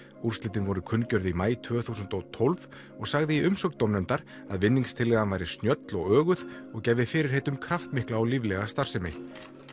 úrslitin voru kunngjörð í maí tvö þúsund og tólf og sagði í umsögn dómnefndar að vinningstillagan væri snjöll og öguð og gæfi fyrirheit um kraftmikla og líflega starfsemi